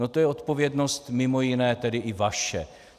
No to je odpovědnost mimo jiné tedy i vaše.